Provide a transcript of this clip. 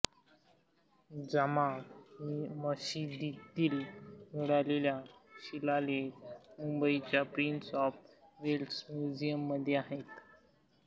जामा मशिदीतील मिळालेला शिलालेख मुंबईच्या प्रिन्स ऑफ वेल्स म्युझियममध्ये आहे